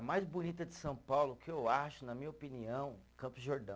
Mais bonita de São Paulo, que eu acho, na minha opinião, Campos do Jordão.